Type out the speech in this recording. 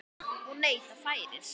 Og neyta færis.